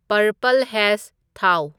purple ꯍꯦꯖ ꯊꯥꯎ